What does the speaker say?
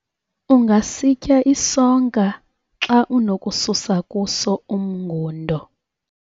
ungasitya isonka xa unokususa kuso umngundo